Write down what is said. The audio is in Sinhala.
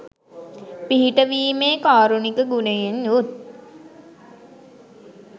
පිහිට වීමේ කාරුණික ගුණයෙන් යුත්